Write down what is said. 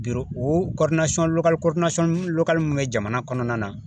O mun bɛ jamana kɔnɔna na